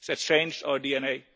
It has changed our